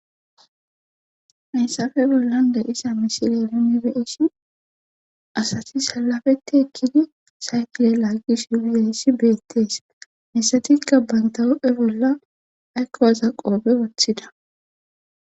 Messafe bollan da isa misileyalinibeesi asati salafeti ekkidi saytile laaggish uwizayissi beettees mesatikka bayntawu7e bolla aykkowaza qoobe wathida.